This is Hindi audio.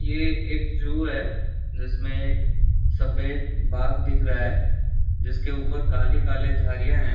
ये एक जू है जिसमे एक सफेद बाघ दिख रहा है जिसके ऊपर काली काले धारियां हैं।